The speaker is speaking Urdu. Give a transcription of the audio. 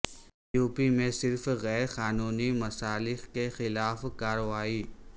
یوپی میں صرف غیر قانونی مسالخ کے خلاف کارروائی